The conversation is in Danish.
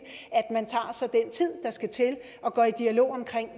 at tid der skal til og går i dialog omkring